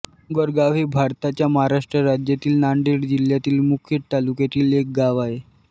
डोंगरगाव हे भारताच्या महाराष्ट्र राज्यातील नांदेड जिल्ह्यातील मुखेड तालुक्यातील एक गाव आहे